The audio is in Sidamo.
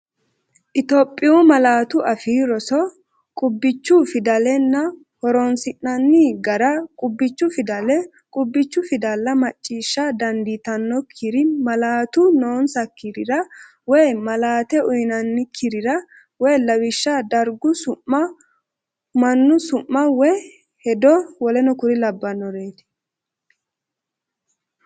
Itophiyu Malaatu Afii Roso Qubbichu Fidalenna Ho’roonsi’nanni Gara Qubbichu Fidale Qubbichu fidale macciishsha dandiitannokkiri malaatu noonsakkirira woy malaate uyinoonnikkirira (lawishsha dargu su’ma, mannu su’ma woy hedo w k l.